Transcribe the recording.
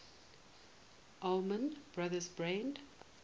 allman brothers band